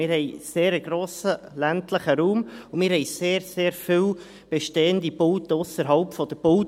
Wir haben einen sehr grossen ländlichen Raum, und wir haben sehr, sehr viele bestehende Bauten ausserhalb der Bauzone.